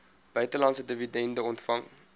buitelandse dividende ontvang